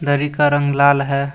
दरी का रंग लाल है।